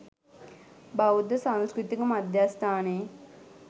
බෞද්ධ සංස්කෘතික මධ්‍යස්ථානයේ